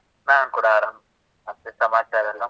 ನಾನ್ ಕೂಡ ಆರಾಮ್. ಮತ್ತೆ ಸಮಾಚಾರ ಎಲ್ಲಾ?